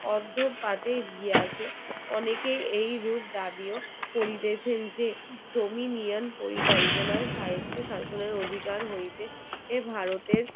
অনেকেই এই রূপ দাবিও করিতেচেন যে dominian পরিকল্পনায় স্বায়ত্ব শাসনের অধিকার হইতে এই ভারতের